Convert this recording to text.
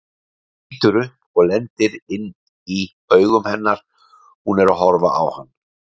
Lítur upp og lendir inn í augum hennar, hún er að horfa á hann.